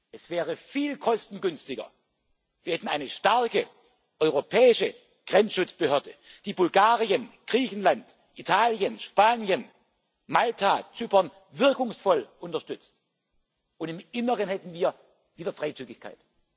Es wäre viel kostengünstiger, wir hätten eine starke europäische Grenzschutzbehörde, die Bulgarien, Griechenland, Italien, Spanien, Malta, Zypern wirkungsvoll unterstützt, und im Inneren hätten wir wieder Freizügigkeit.